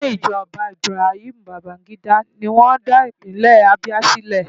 Nínú ìṣèjọba Ibrahim Babangida ni wọ́n dá Ìpínlẹ̀ Abia sílẹ̀.